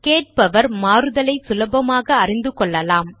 கேட்பவர் மாறுதலை சுலபமாக அறிந்து கொள்ளலாம்